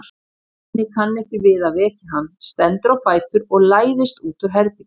Svenni kann ekki við að vekja hann, stendur á fætur og læðist út úr herberginu.